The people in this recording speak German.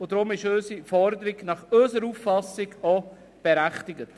Deshalb ist unsere Forderung unserer Auffassung nach auch berechtigt.